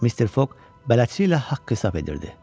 Mister Foq bələdçi ilə haqq-hesab edirdi.